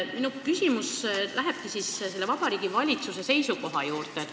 Minu küsimus lähebki selle Vabariigi Valitsuse seisukoha juurde.